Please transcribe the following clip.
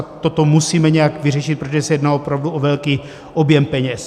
A toto musíme nějak vyřešit, protože se jedná opravdu o velký objem peněz.